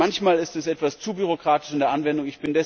Manchmal ist es etwas zu bürokratisch in der Anwendung.